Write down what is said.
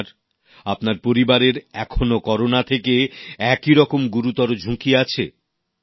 আপনার আপনার পরিবারের এখনো করোনা থেকে একইরকম গুরুতর ঝুঁকি আছে